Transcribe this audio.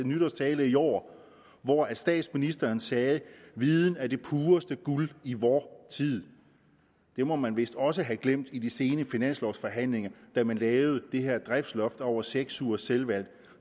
nytårstale i år hvor statsministeren sagde viden er det pureste guld i vor tid det må man vist også have glemt i de sene finanslovforhandlinger da man lavede det her driftsloft over seks ugers selvvalgt